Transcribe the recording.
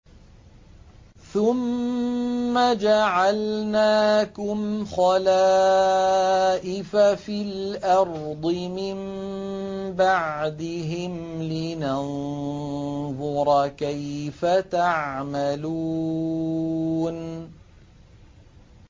ثُمَّ جَعَلْنَاكُمْ خَلَائِفَ فِي الْأَرْضِ مِن بَعْدِهِمْ لِنَنظُرَ كَيْفَ تَعْمَلُونَ